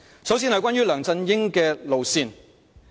首先談談梁振英的路線。